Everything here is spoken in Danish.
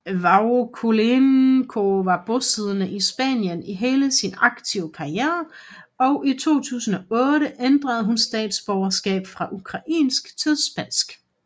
Vakulenko var bosiddende i Spanien i hele sin aktive karriere og i 2008 ændrede hun statsborgerskab fra ukrainsk til spansk